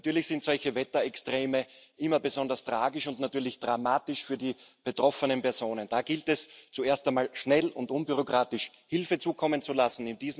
Natürlich sind solche Wetterextreme immer besonders tragisch und natürlich dramatisch für die betroffenen Personen. Da gilt es zuerst einmal, schnell und unbürokratisch Hilfe zukommen zu lassen.